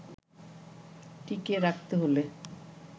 টিকিয়ে রাখতে হলে